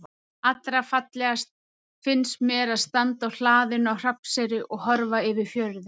Allra fallegast finnst mér að standa á hlaðinu á Hrafnseyri og horfa yfir fjörðinn.